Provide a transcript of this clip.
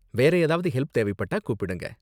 வேற ஏதாவது ஹெல்ப் தேவைப்பட்டா கூப்பிடுங்க.